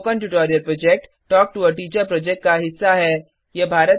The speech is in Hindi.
spoken tutorial project talk to a teacher project का हिस्सा है